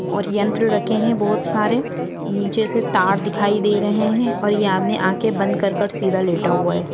और यंत्र रखे है बहुत सारे नीचे से तार दिखाई दे रहे है और ये आदमी आखे बंद कर के सीधा लेटा हुआ है।